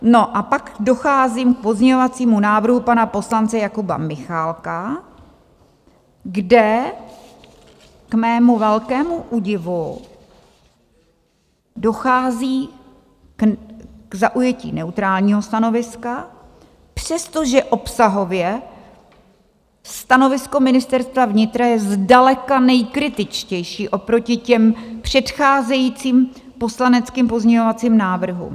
No a pak docházím k pozměňovacímu návrhu pana poslance Jakuba Michálka, kde k mému velkému údivu dochází k zaujetí neutrálního stanoviska, přestože obsahově stanovisko Ministerstva vnitra je zdaleka nejkritičtější oproti těm předcházejícím poslaneckým pozměňovacím návrhům.